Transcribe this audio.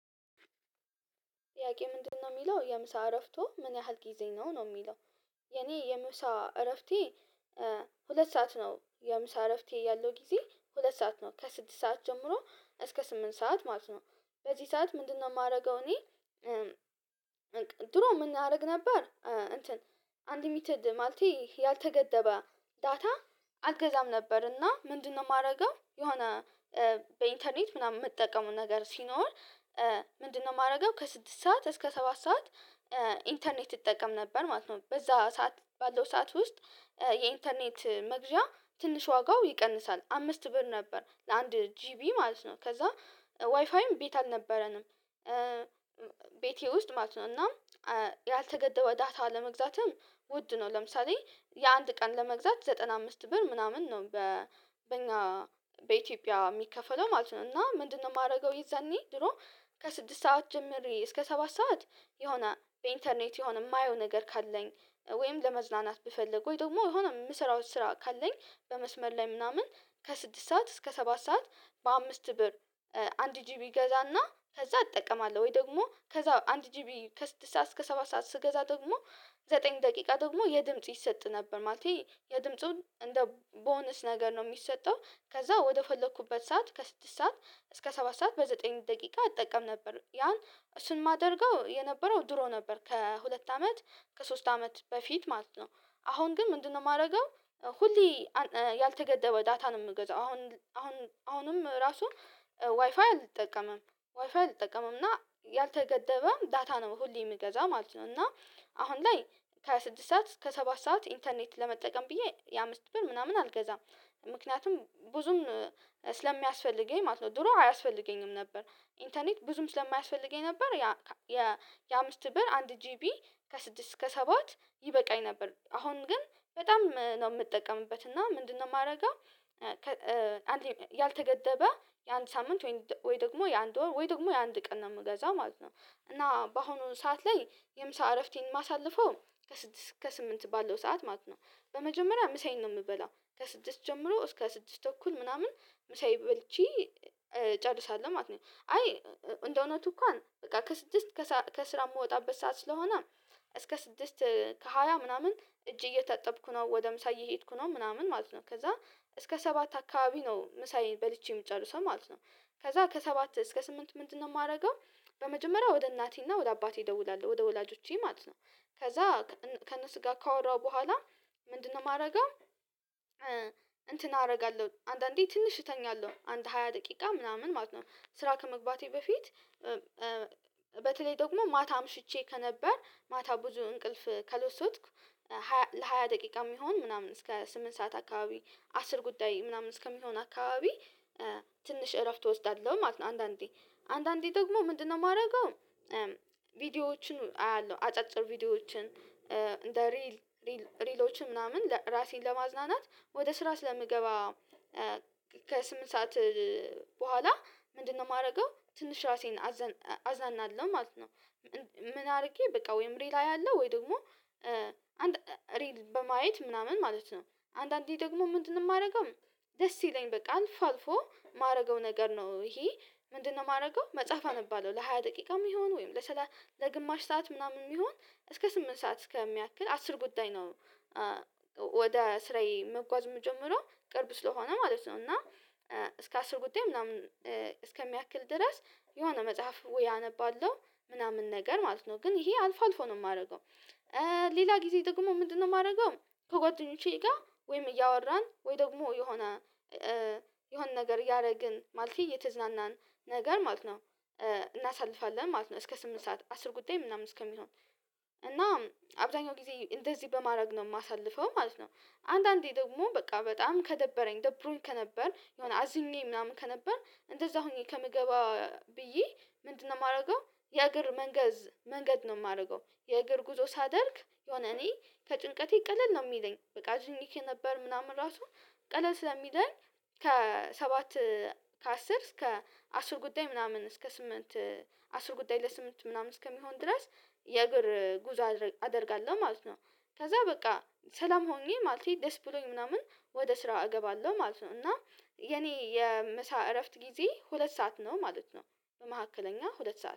ጥያቄ ምንድነው የሚለው የምሳ እረፍቶ ምን ያህል ጊዜ ነው ነው የሚለው? የኔ የምሳ እረፍቴ። ሁለት ሰዓት ነው የምሳ እረፍቴ ያለው ጊዜ ሁለት ሰዓት ነው ከስድስት ሰዓት ጀምሮ እስከ ስምንት ሰዓት ማለት ነው። በዚህ ሰዓት ምንድነው የማደርገው እኔ? ድሮ ምን አደርግ ነበር እንትን አንድ ሚትድ ማለቴ ያልተገደበ። ዳታ አልገዛም ነበርና ምንድነው የማደርገው የሆነ በኢንተርኔት ምናምን የምጠቀመው ነገር ሲኖር። ምንድነው የማደርገው ከስድስት ሰዓት እስከ ሰባት ሰዓት። ኢንተርኔት እጠቀም ነበር ማለት ነው። በዛ ሰዓት ባለው ሰዓት ውስጥ። የኢንተርኔት መግዣ ትንሽ ዋጋው ይቀንሳል አምስት ብር ነበር ለአንድ ጂቢ ማለት ነው። ከዛ ዋይፋይም ቤት አልነበረንም። ቤቴ ውስጥ ማለት ነው እና ያልተገደበ ዳታ ለመግዛትም ውድ ነው። ለምሳሌ የአንድ ቀን ለመግዛት ዘጠና አምስት ብር ምናምን ነው በእኛ በኢትዮጵያ የሚከፈለው ማለት ነው። እና ምንድነው የማደርገው የዛኔ ድሮ። ከስድስት ሰዓት ጀምሪ እስከ ሰባት ሰዓት። የሆነ በኢንተርኔት የሆነ የማየው ነገር ካለኝ ወይም ለመዝናናት ብፈልግ ወይ ደግሞ የሆነ የምሰራው ስራ ካለኝ በመስመር ላይ ምናምን ከስድስት ሰዓት እስከ ሰባት ሰዓት በአምስት ብር። አንድ ጂቢ እገዛና ከዛ እጠቀማለሁ ወይ ደግሞ ከዛ አንድ ጂቢ ከስድስት ሰዓት እስከ ሰባ ሰዓት ስገዛ ደግሞ ዘጠኝ ደቂቃ ደግሞ የድምጽ ይሰጥ ነበር ማለቴ የድምጹን እንደ ቦነስ ነገር ነው። የሚሰጠው ከዛ ወደፈለኩበት ሰዓት ከስድስት ሰዓት እስከ ሰባት ሰዓት በዘጠኝ ደቂቃ እጠቀም ነበር ያን ዝሱን የማደርገው የነበረው ድሮ ነበር ከሁለት አመት ከሶስት አመት በፊት ማለት ነው። አሁን ግን ምንድነው የማደርገው? ሁሌ ያልተገደበ ዳታ ነው የምገዛው። አሁን አሁንም ራሱ ዋይፋይ አልጠቀምም። ዋይፋይ አልጠቀምም እና ያልተገደበ ዳታ ነው ሁሌ የምገዛ ማለት ነው። እና አሁን ላይ ከስድስት ሰዓት እስከ ሰባት ሰዓት ኢንተርኔት ለመጠቀም ብዬ የአምስት ብር ምናምን አልገዛም። ምክንያቱም ብዙም ስለሚያስፈልገኝ ማለት ነው ድሮ አያስፈልገኝም ነበር። ኢንተርኔት ብዙም ስለማያስፈልገኝ ነበር። ያ የአምስት ብር አንድ ጂቢ ከስድስት እስከ ሰባት ይበቃኝ ነበር። አሁን ግን በጣም ነው የምጠቀምበት እና ምንድነው የማደርገው? አንድ ያልተገደበ የአንድ ሳምንት ወይ ደግሞ የአንድ ወይ ደግሞ የአንድ ቀን ነው የምገዛው ማለት ነው። እና በአሁኑ ሰዓት ላይ የምሳ እረፍቴን ማሳለፈው ከስድስት ከስምንት ባለው ሰዓት ማለት ነው። በመጀመሪያ ምሳዬን ነው የምበላው ከስድስት ጀምሮ እስከ ስድስት ተኩል ምናምን ምሳየን በልቺ እጨርሳለሁ ማለት ነው። አይ እንደውነቱ እንኳን ከስድስት ከስራ የምወጣበት ሰዓት ስለሆነ እስከ ስድስት ከሃያ ምናምን እጅ እየጠጠብኩ ነው ወደ ምሳ እየሄድኩ ነው ምናምን ማለት ነው። ከዛ እስከ ሰባት አካባቢ ነው ምሳዬን በልቼ የሚጨርሰው ማለት ነው። ከዛ ከሰባት እስከ ስምንት ምንድነው የማደርገው? በመጀመሪያ ወደ እናቴና ወደ አባቴ እደውላል ወደ ወላጆቼ ማለት ነው። ከዛ ከእነሱ ጋ ካወራው በኋላ ምንድነው የማደርገው? እንትን አደርጋለሁ አንዳንዴ ትንሽ እተኛለሁ አንድ ሃያ ደቂቃ ምናምን ማለት ነው። ስራ ከመግባቴ በፊት በተለይ ደግሞ ማታ አምሽቼ ከነበር ማታ ብዙ እንቅልፍ ካልወሰድኩ ለሃያ ደቂቃ የሚሆን ምናምን እስከ ስምንት ሰዓት አካባቢ አስር ጉዳይ ምናምን እስከሚሆን አካባቢ ትንሽ እረፍት እወስዳለሁ ማለት ነው። አንዳንዴ አንዳንዴ ደግሞ ምንድነው የማደርገው? ቪዲዮዎችን አያለሁ አጫጭር ቪዲዮዎችን እንደ ሪል ሪልሎችን ምናምን ራሴን ለማዝናናት ወደ ስራ ስለምገባ። ከሰአት በኋላ ምንድነው የማደርገው ትንሽ ራሴን አዝናናለሁ ማለት ነው። ምን አድርጌ በቃ ወይም ሬል አያለሁ ወይ ደግሞ አንድ ሬል በማየት ምናምን ማለት ነው አንዳንዴ ደግሞ ምንድነው የማደርገው? ደስ ይለኛል በቃ አልፎ የማደርገው ነገር ነው። ይሄ ምንድነው የማደርገው መጽሐፍ አንባለው ለሃያ ደቂቃ የሚሆን ወይም ለሰላሳ ለግማሽ ሰዓት ምናምን የሚሆን እስከ ስምንት ሰዓት እስከሚያክል አስር ጉዳይ ነው። ወደ ስራዬ መጓዝ የምጀምረው ቅርብ ስለሆነ ማለት ነው። እና እስከ አስር ጉዳይ ምናምን እስከሚያክል ድረስ የሆነ መጽሐፍ ውይ አነባለሁ ምናምን ነገር ማለት ነው። ግን ይሄ አልፎ አልፎ ነው የማደርገው። ሌላ ጊዜ ደግሞ ምንድነው የማደርገው? ከጓደኞቼ ጋር ወይም እያወራን ወይ ደግሞ የሆነ የሆነ ነገር ያደረግን ማለት እየተዝናናን ነገር ማለት ነው እናሳልፋለን ማለት ነው። እስከ ስምንት ሰዓት አስር ጉዳይ ምናምን እስከሚሆን እና አብዛኛው ጊዜ እንደዚህ በማድረግ ነው የማሳልፈው ማለት ነው። አንዳንዴ ደግሞ በቃ በጣም ከደበረኝ ደብሩኝ ከነበር የሆነ አዝኜ ምናምን ከነበር እንደዛ ሆኜ ከምገባ ብዬ ምንድነው የማደርገው? የእግር መንገድ ነው የማደርገው የእግር ጉዞ ሳደርግ የሆነ እኔ ከጭንቀቴ ቀለል ነው የሚለኝ በቃ አዝኜ ነበር ምናምን ራሱ ቀለል ስለሚለኝ ከሰባት ከአስር እስከ አስር ጉዳይ ምናምን እስከ ስምንት አስር ጉዳይ ለስምንት ምናምን እስከሚሆን ድረስ የእግር ጉዞ አደርጋለሁ ማለት ነው። ከዛ በቃ ሰላም ሆኜ ማለት እኔ ደስ ብሎኝ ምናምን ወደ ስራ እገባለሁ ማለት ነው። እና የኔ የምሳ እረፍት ጊዜ ሁለት ሰዓት ነው ማለት ነው። በመካከለኛ ሁለት ሰዓት